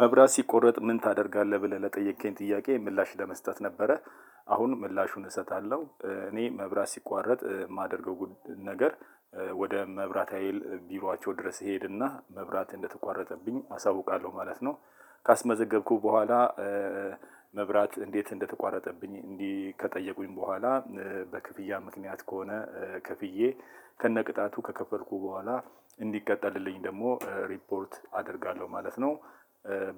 መብራት ሲቆረጥ ምን ታደርጋለህ ብለህ ለጠየከኝ ጥያቄ ምላሽ ለመስጠት ነበረ። አሁን ምላሹን እሰጣለሁ እኔ መብራት ሲቋረጥ የማደርገው ነገር ወደ መብራት ሀይል ቢሯቸው ድረስ ሄድና መብራት እንደተቋረጠብኝ አሳውቃለሁ ማለት ነው። ካስመዘገብኩት በኋላ። መብራት እንዴት እንደተረቋጠብኝ ከጠየቁኝ በሆላ በክፍያ ምክንያት ከሆነ ከፍየ ከነ ቅጣቱ ከከፈልኩ በሆላ እንዲቀጠልልኝ ደግሞ ረፖርት አደርጋለሁ ማለት ነው።